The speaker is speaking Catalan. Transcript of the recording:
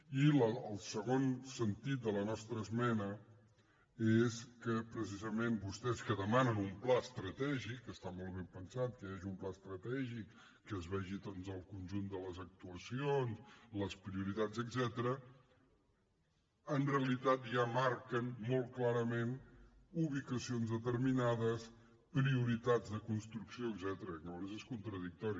i el segon sentit de la nostra esmena és que precisament vostès que demanen un pla estratègic que està molt ben pensat que hi hagi un pla estratègic que es vegi doncs el conjunt de les actuacions les prioritats etcètera en realitat ja marquen molt clarament ubicacions determinades prioritats de construcció etcètera llavors és contradictori